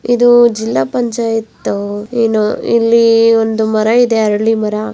ಇದು ಜಿಲ್ಲ ಪಂಚಾಯತ್ ಏನೋ. ಇಲ್ಲಿ ಒಂದು ಮರ ಇದೆ ಅರಳಿ ಮರ --